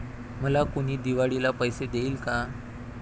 'मला कुणी दिवाळीला पैसे देईल का?'